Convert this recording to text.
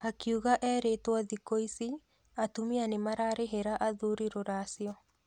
Akiuga erĩtwo thikũ ici atumia nĩmararĩhĩra athuri rũracio.